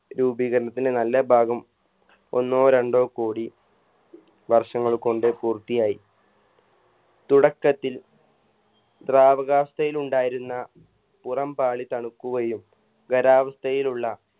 രൂപീകരണത്തിന് നല്ല ഭാഗം ഒന്നോ രണ്ടോ കോടി വർഷങ്ങൾ കൊണ്ട് പൂർത്തിയായി തുടക്കത്തിൽ ദ്രവകാവസ്ഥയിലുണ്ടായിരുന്ന പുറം പാളി തണുക്കുകയും ഖരാവസ്ഥയിലുള്ള